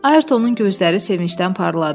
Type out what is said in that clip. Ayrtonun gözləri sevincdən parladı.